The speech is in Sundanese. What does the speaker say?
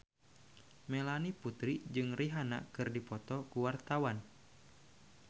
Melanie Putri jeung Rihanna keur dipoto ku wartawan